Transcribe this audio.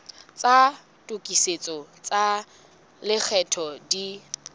tsa tokisetso tsa lekgetho di